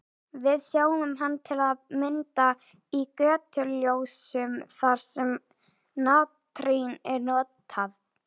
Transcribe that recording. Við sjáum hann til að mynda í götuljósum þar sem natrín er notað.